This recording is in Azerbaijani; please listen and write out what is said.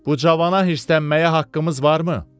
Bu cavana hirslənməyə haqqımız varmı?